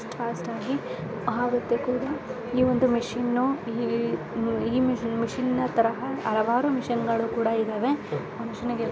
ಎಷ್ಟ ಫಾಸ್ಟಾಗಿ ಆವ್ತು ಕೂಡ ಮಷಿನ ಫಾಸ್ಟಾಗಿ ಆಗುತ್ತೆ ಕೂಡಾ ಈ ಒಂದು ಮಷಿನು ಈ ಮಿಶಿನ್ನ ತರಹ ಹಲವಾರು ಮಷಿನಗಳು ಕೂಡಾ ಇದಾವೆ ಆ ಮಷಿನ್ .